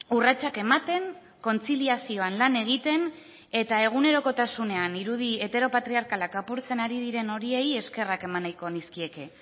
urratsak ematen kontziliazioan lan egiten eta egunerokotasunean irudi heteropatriarkalak apurtzen ari diren horiei eskerrak eman nahiko nizkieke